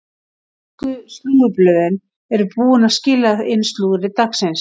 Ensku slúðurblöðin eru búin að skila inn slúðri dagsins.